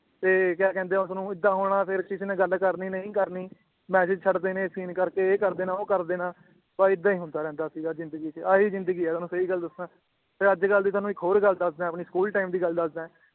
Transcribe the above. ਤੇ ਕਯਾ ਕਹਿੰਦੇ ਏ ਉਸਨੂੰ ਏਦਾਂ ਹੋਣਾ ਫੇਰ ਕਿਸੀ ਨੇ ਗੱਲ ਕਰਨੀ ਨਈ ਕਰਨੀ message ਛੱਡ ਦੇਣੇ ਕਰਕੇ ਇਹ ਕਰਦੇਨਾ ਉਹ ਕਰਦੇਨਾ ਬਾ ਏਦਾਂ ਈ ਹੁੰਦਾ ਰਹਿੰਦਾ ਸੀਗਾ ਜਿੰਦਗੀ ਚ ਆਹੀ ਜਿੰਦਗੀ ਏ ਤੁਹਾਨੂੰ ਸਈ ਗੱਲ ਦੱਸਾਂ ਦੀ ਤੁਹਾਨੂੰ ਇੱਕ ਹੋਰ ਗੱਲ ਦੱਸਦਾਂ ਏ ਆਪਣੇ school time ਦੀ ਗੱਲ ਦੱਸਦਾਂ ਏ